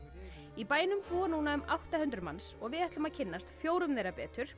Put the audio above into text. í bænum búa núna um átta hundruð manns og við ætlum að kynnast fjórum þeirra betur